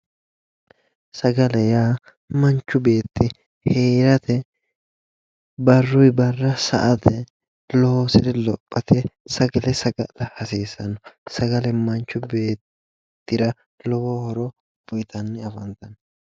Sagale yaa manchu beetti heerate barruyi barra sa"ate loosire lophate sagale saga'la hasiissanno. Sagale manchi beettira lowo horo uyitanni afantanno.